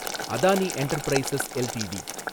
Adani Enterprises LTD